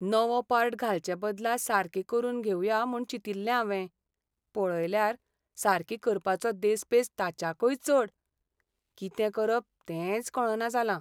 नवो पार्ट घालचे बदला सारकी करून घेवया म्हूण चिंतिल्लें हावें, पळयल्यार सारकी करपाचो देस्पेस ताच्याकय चड. कितें करप तेंच कळना जालां.